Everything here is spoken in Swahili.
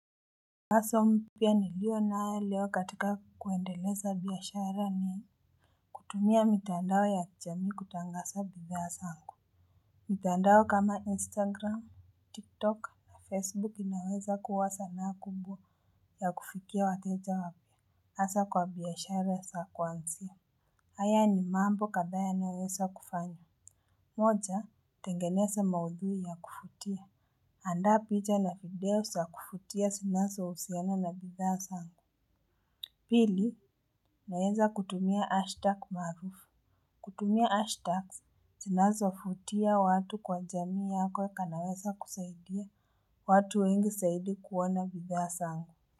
Wazo mpya niliyo nayo leo katika kuendeleza biashara ni kutumia mitandao ya kijamii kutangaza bidhaa zangu. Mitandao kama Instagram, TikTok na Facebook inaweza kuwa zana kubwa ya kufikia wateja wapya. Hasa kwa biashara za kuanzia. Haya ni mambo kadhaa yanayoweza kufanywa. Moja, tengeneza maudhui ya kuvutia. Andaa picha na video za kuvutia zinazohusiana na bidhaa zangu. Pili naweza kutumia hashtag maarufu. Kutumia hashtags zinazovutia watu kwa jamii yako kunaweza kusaidia watu wengi zaidi kuona bidhaa zangu.